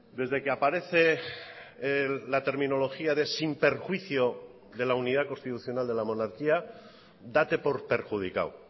desde que aparece la terminología de sin perjuicio de la unidad constitucional de la monarquía date por perjudicado o